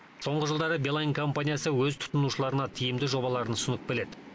соңғы жылдары билайн компаниясы өз тұтынушыларына тиімді жобаларын ұсынып келеді